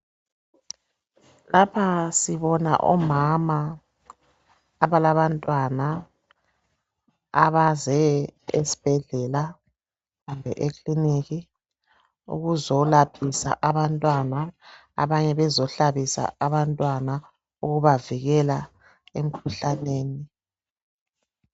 Lapha sibona omama abalabantwana abaze esibhedlela kumbe ekiliniki ukuzo laphisa abantwana abanye bezohlabisa abantwana ukubavikela emkhuhlaneni.